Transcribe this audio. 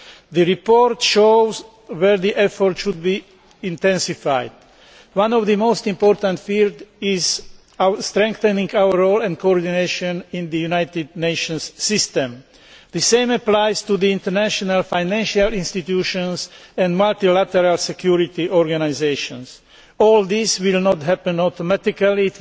The report shows where the effort should be intensified. One of the most important fields is strengthening our role and coordination in the United Nations system. The same applies to the international financial institutions and multilateral security organisations. All this will not happen automatically.